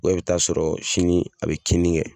i bɛ taa sɔrɔ sini a bɛ kinni kɛ.